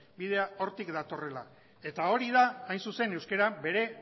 bidea hortik datorrela eta hori da hain zuzen euskara bere